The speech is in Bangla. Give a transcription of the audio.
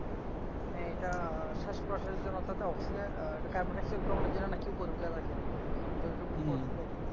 শ্বাসকষ্টের জন্য তাতে অক্সিজেন কার্বন ডাই অক্সাইড জন্য নাকি উপরে উঠে থাকে হুম